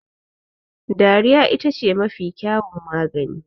Dariya ita ce mafi kyawun magani